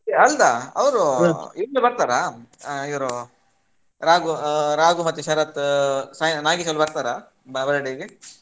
ಅಲ್ಲ ಈಗ್ಲೇ ಬರ್ತಾರಾ ಇವ್ರು ರಾಘು ಮತ್ತೆ ಶರತ್ ಆ ನಾಗೇಶ್ ಎಲ್ಲಾ ಬರ್ತಾರಾ birthday ಗೆ?